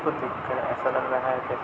को देखकर ऐसा लग रहा है जैसे --